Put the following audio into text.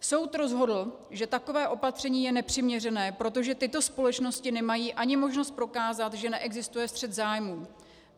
Soud rozhodl, že takové opatření je nepřiměřené, protože tyto společnosti nemají ani možnost prokázat, že neexistuje střet zájmů.